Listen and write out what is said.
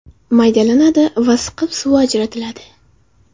Maydalanadi va siqib suvi ajratiladi.